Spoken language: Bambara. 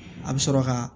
A bɛ sɔrɔ ka